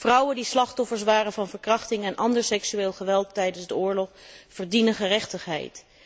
Vrouwen die slachtoffer waren van verkrachting en ander seksueel geweld tijdens de oorlog verdienen gerechtigheid.